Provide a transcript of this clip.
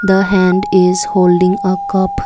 the hand is holding a cup.